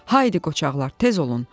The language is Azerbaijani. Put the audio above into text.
Haydi qoçaqlar, tez olun.